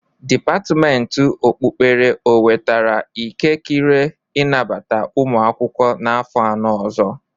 Depatimenti okpukpere o wetara ikekire inabata ụmụ akwụkwọ n'afọ anọ ọzọ?